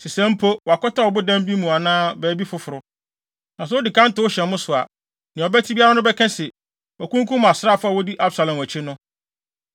Sesɛɛ mpo, wakɔtɛw ɔbodan bi mu anaa baabi foforo. Na sɛ odi kan tow hyɛ mo so a, nea ɔbɛte biara no bɛka se, ‘Wɔakunkum asraafo a wodi Absalon akyi no.’